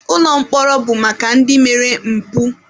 Ụlọ mkpọrọ bụ maka ndị mere mpụ.